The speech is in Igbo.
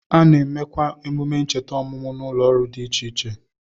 A na-emekwa emume ncheta ọmụmụ n'ụlọoriri dị iche iche